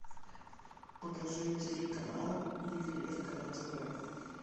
покажи телеканал ювелирка на тв